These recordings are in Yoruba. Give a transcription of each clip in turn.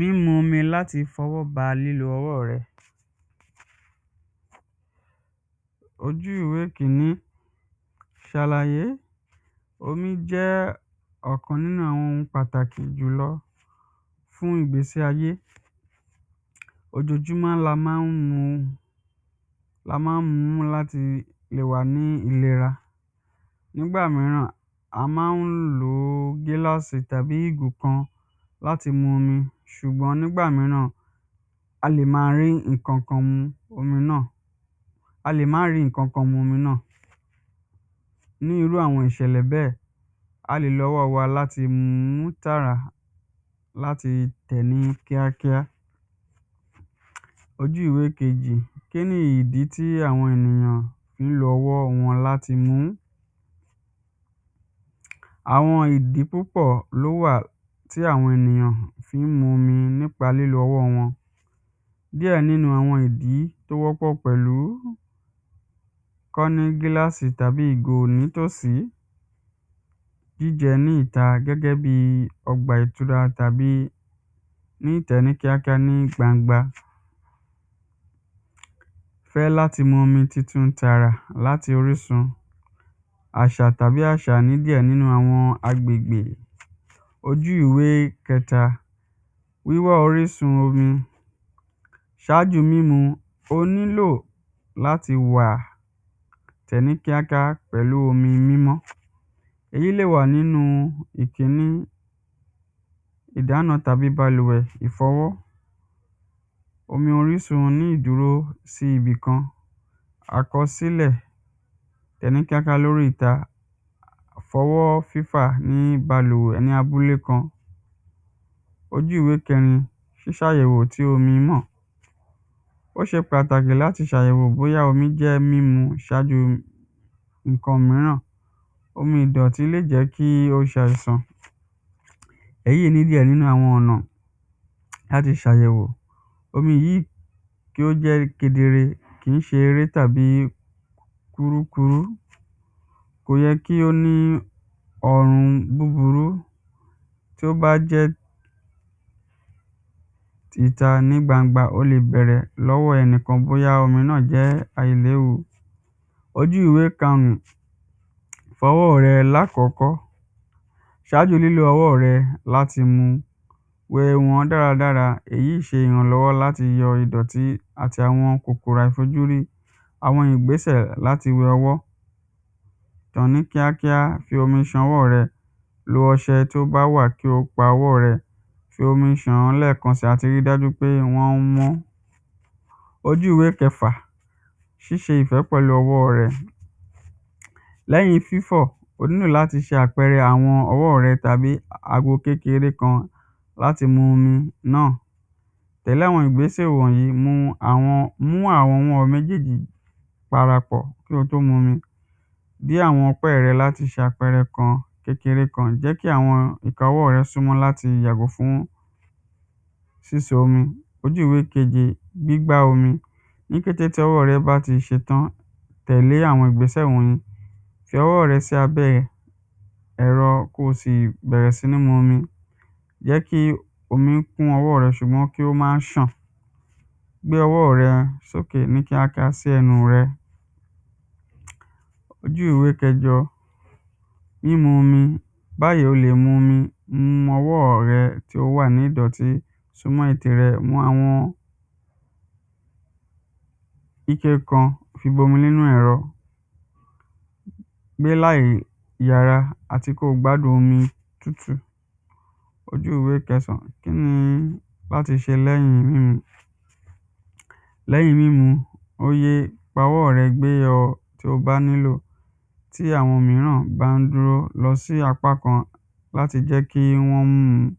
Lílo omi láti fọwọ́ ba nínu ọwọ́ rẹ, ojú ìwé kíní ṣàlàyé. Omí jẹ́ ọ̀kan nínú àwọn ohun pàtàkì jùlọ fún ìgbésí ayé. Ojojúmọ́ la má ń mu, la má ń mú láti le wà ní ìlera, nígbà míràn a má ń lo gílàsì tàbí ìgò kan láti mu ṣùgbọ́n nígbà míràn a lè má ní ìkàn kan mu omi náà, a lè má rí nǹkan kan mu omi náà. Ní irú àwọn ìṣẹ̀lẹ̀ bẹ́ẹ̀, a lè lo ọwọ́ wa láti mú tà láti tẹ̀lé kíá kíá. Ojú ìwé kejì, kínì dí táwọn ń lo ọwọ́ wọn láti mú, àwọn ìdí púpọ̀ ló wà tí àwọn ènìyàn fí ń mu omi nípa lílo ọwọ́ wọn. Díẹ̀ nínú àwọn ìdí tó wọ́pọ̀ pẹ̀lú kọ́ ní gílàsì tàbí ìgò nítòsí jíjẹ ní ìta gẹ́gẹ́ bí ọgbà ìtura tàbí níta ní kíákíá ní gbangba. Kọ́ láti mumi tútí ita láti rí san àṣà tàbí àṣà nígbà míì àwọn agbègbè. Ojú ìwé kẹta, wíwá orísun omi ṣáájú mímu, o nílò láti wà tẹ̀ ní kíákíá pẹ̀lú omi mímọ́. Ẹ̀yí lẹ̀ wà nínú ìkíní ìdána tàbí balùwẹ̀, ìfọwọ́, omi orísun tàbí ìdúró sí ibìkan. Àkọsílẹ̀ ní balùwẹ̀ ní abúlé kan. Ojú ìwé kẹrin, sísàyẹ̀wò tí omi náà. Ó se pàtàkì láti ṣàyẹ̀wò bóyá omi jẹ́ mímu tàbí nǹkan míràn. Omi ìdọ̀tí lè jẹ́ kí o ṣàìsàn, èyí lè jẹ́ nínú àwọn ọ̀nà láti ṣàyẹ̀wò. Omi míì tí ó jẹ́ kedere kìí ṣe eré tàbí kúrúkurú, kò yẹ kí ó ní orun búburú. Tí ó bá jẹ́ ìta nígbangba o lè bẹ̀rẹ̀ lọ́wọ́ ẹnìkan bóyá omi náà jẹ́ àìléwu. Ojú ìwé karùn ún, fọwọ́ rẹ lákọ̀kọ́ ṣájú lílo ọwọ́ rẹ láti mu. Wẹ̀ mọ́ dára dára, èyí ṣe ìrànlọ́wọ́ láti yọ àwọn ìdọ̀tí àti àwọn kòkòrò àìfojúrí àwọn ìgbésẹ̀ láti wẹ ọwọ́, ṣán ní kíákíá, fomi ṣan ọwọ́ rẹ, lo ọṣẹ tí ó bá wà kí o pa ọwọ́ rẹ, fi omi ṣàn án lẹ́kàn sí àti rí dájú pé wọ́n mọ́. Ojú ìwé kẹfà, ṣíṣe ìfẹ́ pẹ̀lú ọwọ́ rẹ, lẹ́yìn fífọ̀ o nílò láti ṣan àpẹ̀rẹ àwọn ọwọ́ rẹ tàbí ago kékeré kan tàbí náà. Pẹ̀lú àwọn ìgbésẹ̀ wọ̀nyìí àwọn mú àwọn ọwọ́ méjèjì parapọ̀ kí o tó mu omi, bí àwọn ọpẹ́ rẹ láti ṣàpẹrẹ kan kékéré kan, jẹ́ kí àwọn ìka ọwọ́ rẹ súnmọ́ láti jọ̀ bọ́ ní ṣíṣe omi. Ojú ìwé keje, gbígbá omi, ní kété tí ọwọ́ rẹ bá ti ṣetán, tẹ̀lẹ́ àwọn ìgbésẹ̀ wọ̀nyìí, fi ọwọ́ rẹ sí abẹ́ ẹ̀rọ kó sì bẹ̀rẹ̀ sí ní momi, jẹ́ kí omi kún ọwọ́ rẹ ṣùgbọ́n kí ó má ṣàn. Gbé ọwọ́ rẹ ní kíákíá sẹ́nu rẹ. Ojú ìwé kẹjọ mímu omi báyìí o lè mu omi mo ọwọ́ rẹ tí ó wà ní ìdọ̀tí súnmọ́ ètè rẹ mọ àwọn ikẹ kan fi bomi nínú ẹ̀rọ, gbé láì yẹra àti kó gbádùn omi tútù. Ojú ìwé kẹsàn án, kíni láti ṣe lẹ́yìn mímu, lẹ́yìn mímu, oye ọwọ́ rẹ gbé tí o bá nílò tí àwọn míràn bá ń dúró lọ sí apá kan láti jẹ́ kí wọ́n mu.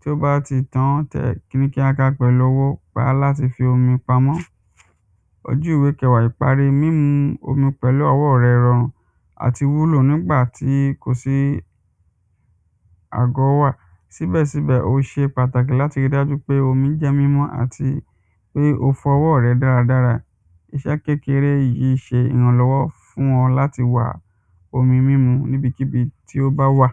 Tí ó bá ti tán tẹ́ rí kíákíá pẹ̀lú wá láti fi omi pamọ́, ojú ìwé kẹwàá, ìparí mímu omi pẹ̀lú ọwọ́ rẹ rọrùn àti wúlò nígbàtí kò sí àgọ́wà, síbẹ̀ síbẹ̀ ó ṣe pàtàkì láti rí dájú pé omi jẹ́ mímọ́ àti pé o fọwọ́ rẹ dáradára, iṣẹ́ kékeré yìí ṣe ìrànlọ́wọ́ fún ọ láti wà omi mímu níbikíbi tí ó bá wà.